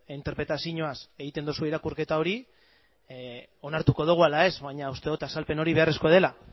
interpretazioaz egiten duzu irakurketa hori onartuko dugu ala ez baina uste dut azalpen hori beharrezkoa dela